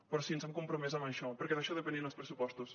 però sí ens hem compromès amb això perquè d’això depenien els pressupostos